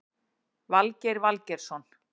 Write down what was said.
Valgeir Valgeirsson